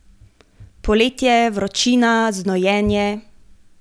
Poletje, vročina, znojenje ...